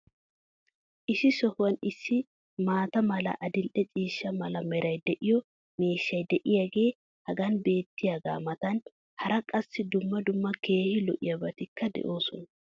Issi sohuwan issi maata mala, adil"e ciishsha mala meray de'iyo miishshay diyaagee hagan beetiyaagaa matan hara qassi dumma dumma keehi lo'iyaabatikka de'oosona.